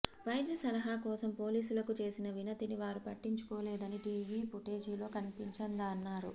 వైద్య సలహా కోసం పోలీసులకు చేసిన వినతిని వారు పట్టించుకోలేదని టీవీ పుటేజీలో కన్పించిందన్నారు